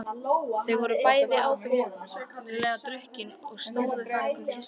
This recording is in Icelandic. Þau voru bæði áberandi drukkin og stóðu þarna og kysstust.